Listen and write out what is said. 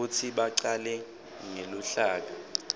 kutsi bacale ngeluhlaka